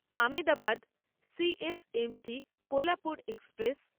Ahmedabad C S M T Kolhapur express